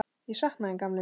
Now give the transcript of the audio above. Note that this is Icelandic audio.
Ég sakna þín gamli minn.